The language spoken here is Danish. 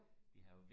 jo